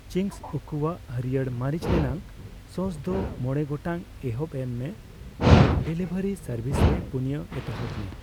Ching's ᱩᱠᱩᱭᱟᱜ ᱦᱟᱹᱲᱭᱟᱹᱨ ᱢᱟᱹᱨᱤᱪ ᱨᱮᱱᱟᱜ ᱥᱚᱥ ᱫᱚ ᱢᱚᱲᱮ ᱜᱚᱴᱟᱝ ᱮᱛᱚᱦᱚᱵ ᱮᱢ ᱢᱮ ᱟᱨ ᱰᱮᱞᱤᱵᱷᱟᱨᱤ ᱥᱟᱨᱵᱷᱤᱥ ᱨᱮ ᱯᱩᱱᱭᱟ ᱮᱛᱚᱦᱚᱵᱽ ᱢᱮ ᱾